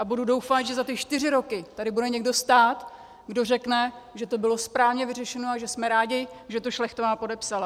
A budu doufat, že za ty čtyři roky tady bude někdo stát, kdo řekne, že to bylo správně vyřešeno a že jsme rádi, že to Šlechtová podepsala.